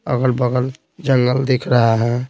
अगल-बगल जंगल दिख रहा है।